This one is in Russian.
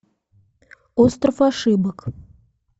остров ошибок